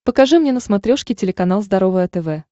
покажи мне на смотрешке телеканал здоровое тв